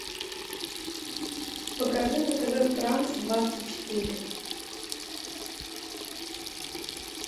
покажи на тв франс двадцать четыре